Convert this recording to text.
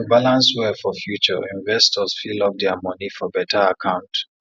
to balance well for future investors fit lock dia moni for beta akant